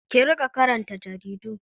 Ki riƙa karanta jaridu!